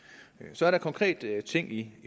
så er der konkrete ting i